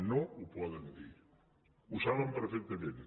no ho poden dir ho saben perfectament